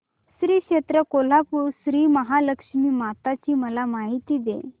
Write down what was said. श्री क्षेत्र कोल्हापूर श्रीमहालक्ष्मी माता ची मला माहिती दे